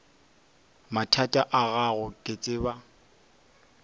mathata a gago ke tseba